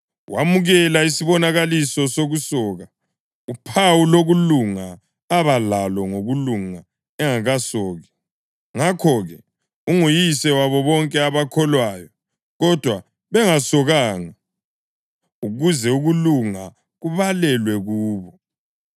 Wamukela isibonakaliso sokusoka, uphawu lokulunga abalalo ngokulunga engakasoki. Ngakho-ke, unguyise wabo bonke abakholwayo, kodwa bengasokanga, ukuze ukulunga kubalelwe kubo.